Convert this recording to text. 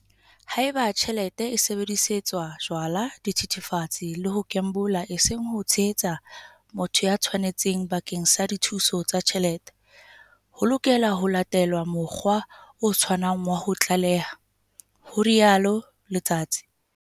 "Haeba tjhelete e sebedisetswa jwala, dithethefatse le ho kembola eseng ho tshehetsa motho ya tshwanetseng bakeng sa dithuso tsa tjhelete, ho lokela ho latelwe mokgwa o tshwanang wa ho tlaleha," ho rialo Letsatsi.